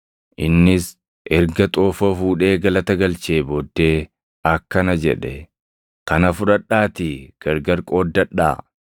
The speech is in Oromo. Innis erga xoofoo fuudhee galata galchee booddee akkana jedhe; “Kana fudhadhaatii gargar qooddadhaa.